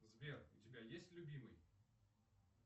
сбер у тебя есть любимый